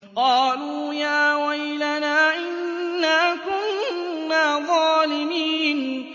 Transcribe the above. قَالُوا يَا وَيْلَنَا إِنَّا كُنَّا ظَالِمِينَ